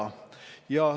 Aeg!